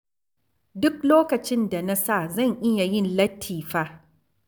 Duk lokacin da na sa zan iya yin latti fa.